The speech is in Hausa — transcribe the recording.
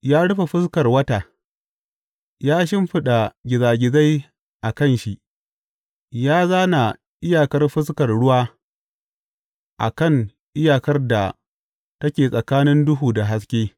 Ya rufe fuskar wata, ya shimfiɗa gizagizai a kan shi, ya zāna iyakar fuskar ruwa a kan iyakar da take tsakanin duhu da haske.